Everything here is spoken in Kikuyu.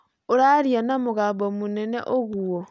ũraaria na mũgambo mũnene ũguo